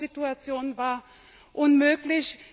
Die Wohnsituation war unmöglich.